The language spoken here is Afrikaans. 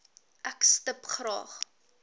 ek stip graag